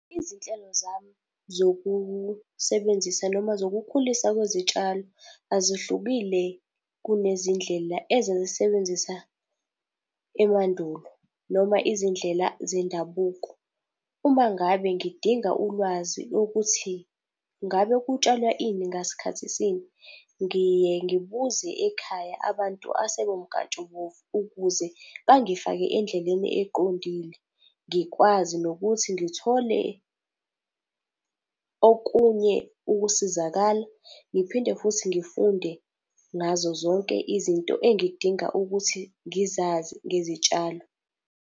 Izinhlelo zami zokusebenzisa noma zokukhulisa kwezitshalo, azihlukile kunezindlela ezazisebenzisa emandulo noma izindlela zendabuko. Uma ngabe ngidinga ulwazi ukuthi ngabe kutshalwa ini ngasikhathi sini, ngiye ngibuze ekhaya abantu asebemkantshubomvu ukuze bangifake endleleni eqondile. Ngikwazi nokuthi ngithole okunye ukusizakala, ngiphinde futhi ngifunde ngazo zonke izinto engidinga ukuthi ngizazi ngezitshalo.